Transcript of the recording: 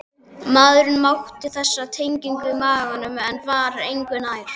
Maðurinn mátaði þessar tegundir í maganum en var engu nær.